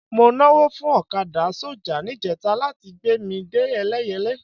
Mo nawọ́ fún ọ̀kadà sọ́jà níjẹta láti gbé mi dé Ẹlẹ́yẹlé